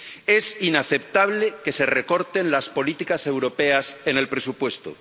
Es inaceptable que se recorten las políticas europeas en el presupuesto.